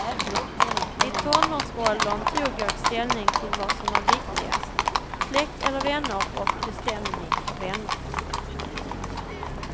I tonårsåldern tog jag ställning till vad som är viktigast, släkt eller vänner och bestämde mig för vänner.